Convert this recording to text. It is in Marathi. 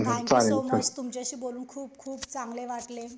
थंक यु सो मच तुमच्याशी बोलून खूप खूप चांगले वाटले